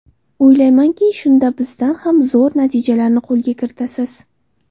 O‘ylaymanki, shunda bizdan ham zo‘r natijalarni qo‘lga kirita olasiz.